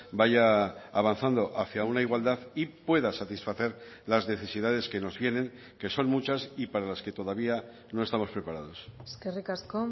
vaya avanzando hacia una igualdad y pueda satisfacer las necesidades que nos vienen que son muchas y para las que todavía no estamos preparados eskerrik asko